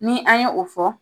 Ni an ye o fɔ